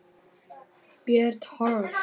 Björn Thors.